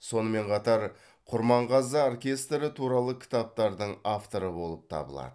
сонымен қатар құрманғазы оркестрі туралы кітаптардың авторы болып табылады